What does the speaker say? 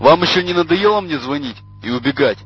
вам ещё не надоело мне звонить и убегать